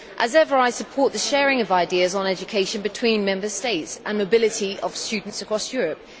As ever, I support the sharing of ideas on education between Member States and the mobility of students across Europe.